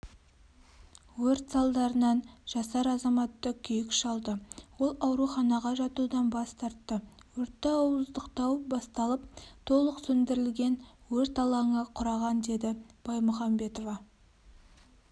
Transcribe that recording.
өрт салдарынан жасар азаматты күйік шалды ол ауруханаға жатудан бас тартты өртті ауыздықтау басталып толық сөндірілген өрт алаңы құраған деді баймұхамбетова